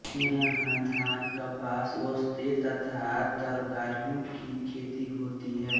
यहाँ धान कपास वोस्ते तथा तरकारियों की खेती होती है